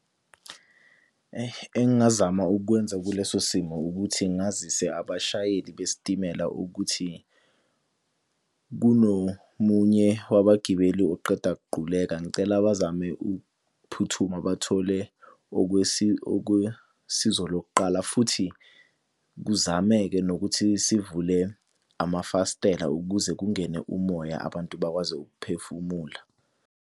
Engingazama ukukwenza kuleso simo ukuthi ngazise abashayeli besitimela ukuthi kunomunye wabagibeli oqeda kuquleka, ngicela bazame ukuphuthuma bathole okwesizo lokuqala futhi, kuzameke nokuthi sivule amafasitela ukuze kungene umoya abantu bakwazi ukuphefumula.